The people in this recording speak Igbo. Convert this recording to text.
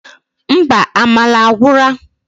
Mba, amala agwura!